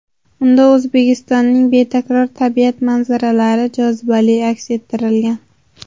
Unda O‘zbekistonning betakror tabiat manzaralari jozibali aks ettirilgan.